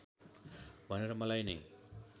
भनेर मलाई नै